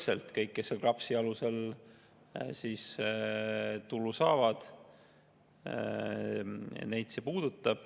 See puudutab kõiki, kes KRAPS-i alusel töötasu saavad.